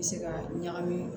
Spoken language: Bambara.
I bɛ se ka ɲagami